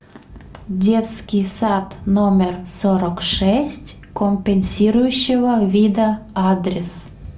детский сад номер сорок шесть компенсирующего вида адрес